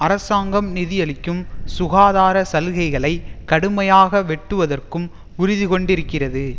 அரசாங்கம் நிதியளிக்கும் சுகாதார சலுகைகளை கடுமையாக வெட்டுவதற்கும் உறுதிகொண்டிருக்கிறது